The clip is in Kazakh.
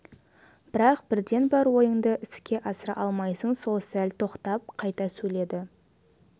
бірақ бірден бар ойыңды іске асыра алмайсың ол сәл тоқтап қайта сөйледі